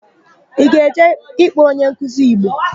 Ị ga-eje ịkpọ onyenkuzi Igbo?